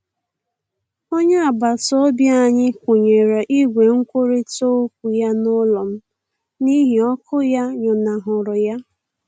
Onye agbataobi anyị bịara kwụnye igwe nkwurita okwu ya n'ụlọ m n'ihi ọkụ ya nyụnahụrụ ya.